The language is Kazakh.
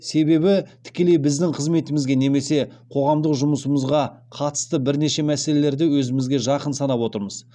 себебі тікелей біздің қызметімізге немесе қоғамдық жұмысымызға қатысты бірнеше мәселелерді өзімізге жақын санап отырмыз